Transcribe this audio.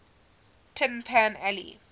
tin pan alley